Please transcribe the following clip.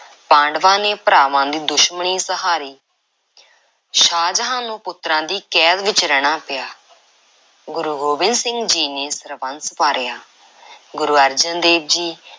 ਪਾਂਡਵਾਂ ਨੇ ਭਰਾਵਾਂ ਦੀ ਦੁਸ਼ਮਣੀ ਸਹਾਰੀ, ਸ਼ਾਹਜਹਾਂ ਨੂੰ ਪੁੱਤਰਾਂ ਦੀ ਕੈਦ ਵਿੱਚ ਰਹਿਣਾ ਪਿਆ। ਗੁਰੂ ਗੋਬਿੰਦ ਸਿੰਘ ਜੀ ਨੇ ਸਰਬੰਸ ਵਾਰਿਆ, ਗੁਰੂ ਅਰਜਨ ਦੇਵ ਜੀ